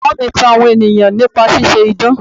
Bàbá mi tan àwọn ènìyàn nípa ṣíṣe idán.